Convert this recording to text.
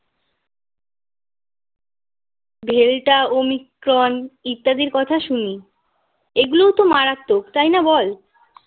delta Omicron ইত্যাদির কথা শুনি এগুলোও তো মারাত্মক তাই না বল